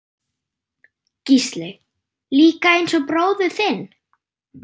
Gísli: Líka eins og bróðir þinn?